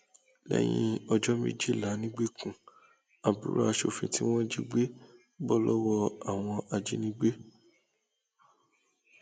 lẹyìn ọjọ méjìlá nìgbèkùn àbúrò aṣòfin tí wọn jí gbé bọ lọwọ àwọn ajínigbé